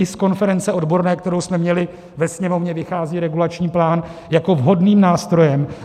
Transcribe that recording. I z konference odborné, kterou jsme měli ve Sněmovně, vychází regulační plán jako vhodný nástroj.